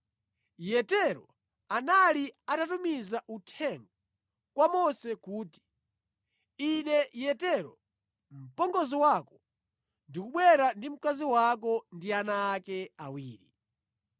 Yetero anali atatumiza uthenga kwa Mose kuti, “Ine Yetero, mpongozi wako, ndikubwera ndi mkazi wako ndi ana ake awiri.”